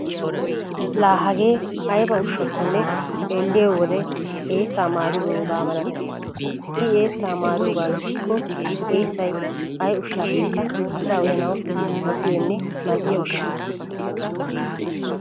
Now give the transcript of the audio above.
Laa hagee ayba ushshakkonne xeelliyo wode eessaa maaridoogaa malatees. I eessa maaroogaa gidikko eessay ay ushshaappekka asa uyanawu dosiyonne mal"iya ushsha.